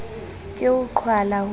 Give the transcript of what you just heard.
ke ho qhwala ho mo